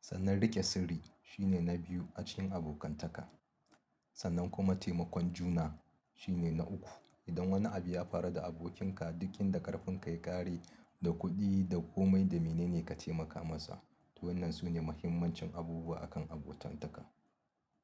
Sannan riƙe sirri shine na biyu a cikin abokantaka. Sannan kuma taimakon juna shine na uku. Idan wani abu ya faru da abokinka, duk inda ƙarfin ka ya ƙare, da kuɗi da komai da mene ne ka taimaka masa. Waɗannan su ne mahimmancin abubuwa akan abokantaka.